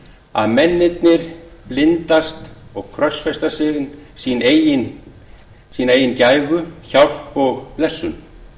að mennirnir blindast og krossfesta sína eigin gæfu hjálp og blessun